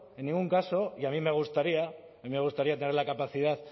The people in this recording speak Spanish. en ningún caso y a mí me gustaría tener la capacidad